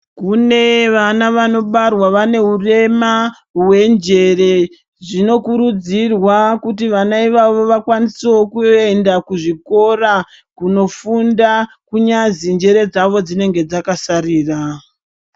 Kune vana vanobarwara vane urema hwenjere. Zvinokurudzirwa kuti vana ivavo vakwanise wo kuenda kuzvikora kunofunda kunyazi njere dzavo dzinenge dzakasarira.